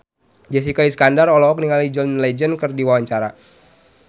Jessica Iskandar olohok ningali John Legend keur diwawancara